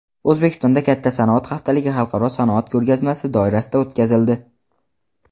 O‘zbekistonda katta sanoat haftaligi xalqaro sanoat ko‘rgazmasi doirasida o‘tkazildi.